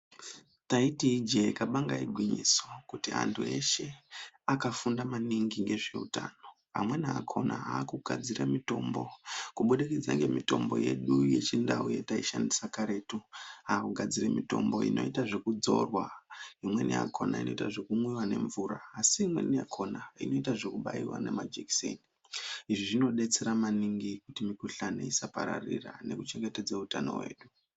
Taiti ijee kabanga igwinyiso kuti anhu eshe akafunda maningi ngezveutano amweni akona akugadzire mitombo kubudikidza ngemitombo yedu yechindau yataishandise karetu akugadzire mitombo inoita zvekudzorwa imweni yakona inoitwe yekumwiwa nemvura asi imweni yakona inoitwa zvekubaiwa nemajekiseni izvi zvinobatsira maningi kuti mukhuhlani isapararira nekuchengetedze utano hwedu.